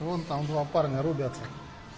вон там два парня рубят